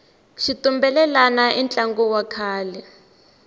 xitumbelelani i ntlangu wa kahle